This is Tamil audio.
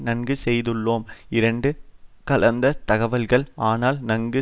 நன்கு செய்துள்ளோம் இரண்டாம் கலந்த தகவல்கள் ஆனால் நன்கு